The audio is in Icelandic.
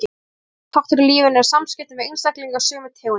Þeirra aðal þáttur í lífinu eru samskiptin við einstaklinga sömu tegundar.